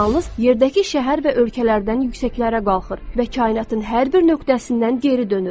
Sizin siqnalınız yerdəki şəhər və ölkələrdən yüksəklərə qalxır və kainatın hər bir nöqtəsindən geri dönür.